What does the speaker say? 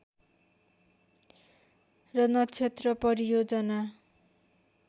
र नक्षत्र परियोजना